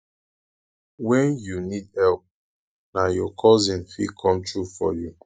wen you need help na your cousin fit come through for you